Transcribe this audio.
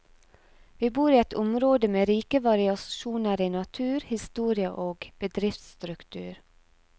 Vi bor i et område med rike variasjoner i natur, historie og bedriftsstruktur.